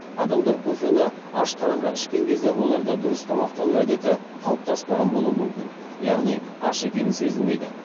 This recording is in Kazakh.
адамдар кофені аш қарынға ішкен кезде оларда дұрыс тамақтану әдеті қалыптаспаған болуы мүмкін яғни аш екені сезілмейді